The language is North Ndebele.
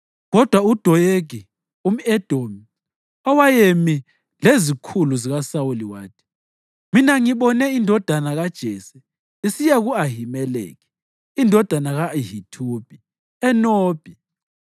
Kodwa uDoyegi, umʼEdomi, owayemi lezikhulu zikaSawuli wathi, “Mina ngibone indodana kaJese isiya ku-Ahimeleki indodana ka-Ahithubi eNobhi.